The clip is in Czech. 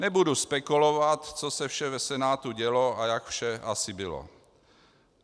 Nebudu spekulovat, co se vše v Senátu dělo a jak vše asi bylo.